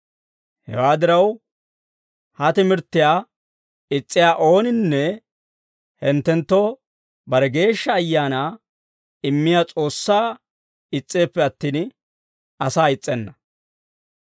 Hewaa diraw, ha timirttiyaa is's'iyaa ooninne hinttenttoo bare Geeshsha Ayaanaa immiyaa S'oossaa is's'eeppe attin, asaa is's'enna.